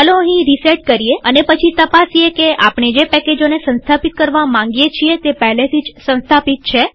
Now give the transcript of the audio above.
ચાલો અહીં રીસેટ કરીએઅને પછી તપાસીએ કે આપણે જે પેકેજોને સંસ્થાપિત કરવા માંગીએ છીએ તે પહેલેથી જ સંસ્થાપિત છે